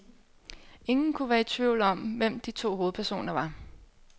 Ingen kunne være i tvivl om, hvem de to hovedpersoner var.